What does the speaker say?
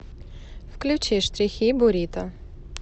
включи штрихи бурито